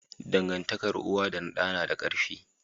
Dangantakar uwa da da nada karfi